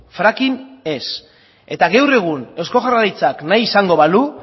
fracking ez eta gaur egun eusko jaurlaritzak nahi izango balu